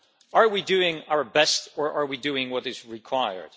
Are we doing our best or are we doing what is required?